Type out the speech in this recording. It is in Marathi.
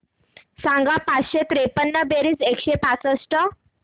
सांग पाचशे त्रेपन्न बेरीज एकशे पासष्ट